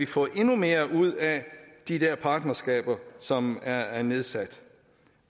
få endnu mere ud af de der partnerskaber som er er nedsat